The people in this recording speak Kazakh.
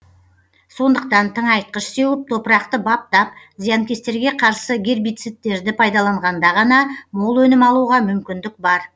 сондықтан тыңайтқыш сеуіп топырақты баптап зиянкестерге қарсы гербицидтерді пайдаланғанда ғана мол өнім алуға мүмкіндік бар